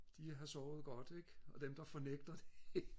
de har sovet godt ikke og dem der fornægter det